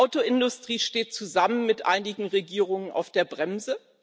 Die Autoindustrie steht zusammen mit einigen Regierungen auf der Bremse.